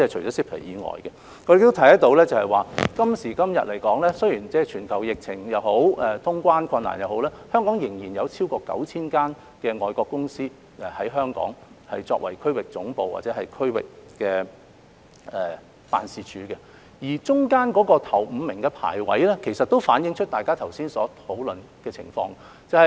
我們亦可以看到，雖然今時今日面對全球疫情或通關困難也好，香港仍有超過 9,000 間外國公司以香港作為區域總部或區域辦事處，當中首5位的排名也反映大家剛才所討論的情況。